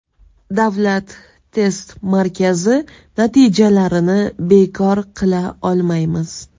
Davlat test markazi natijalarini bekor qila olmaymiz.